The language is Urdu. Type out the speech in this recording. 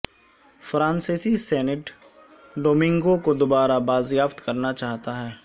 فرانسیسی سینٹ ڈومینگو کو دوبارہ بازیافت کرنا چاہتا ہے